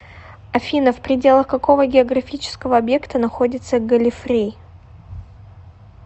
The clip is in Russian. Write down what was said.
афина в пределах какого географического объекта находится галлифрей